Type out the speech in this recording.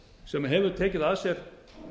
sem hefur tekið að sér